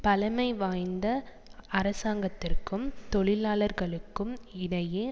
பழமைவாய்ந்த அரசாங்கத்திற்கும் தொழிலாளர்களுக்கும் இடையே